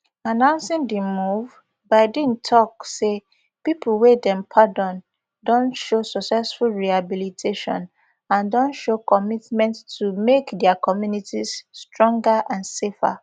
announcing di move biden tok say pipo wey dem pardon don show successful rehabilitation and don show commitment to make dia communities stronger and safer